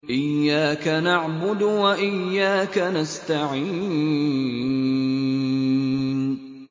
إِيَّاكَ نَعْبُدُ وَإِيَّاكَ نَسْتَعِينُ